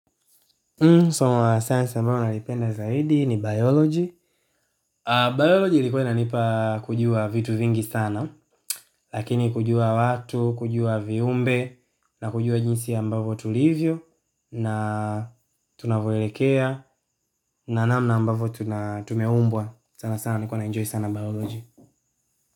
Somo la science ambayo nalipenda zaidi ni biology. Biology ilikuwa inanipa kujua vitu vingi sana. Lakini kujua watu, kujua viumbe, na kujua jinsi ambavyo tulivyo, na tunavyoelekea, na namna ambavyo tumeumbwa. Sana sana nilikuwa naenjoy sana biology.